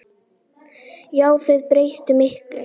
Já, þau breyttu miklu.